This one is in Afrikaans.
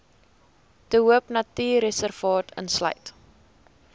de hoopnatuurreservaat insluit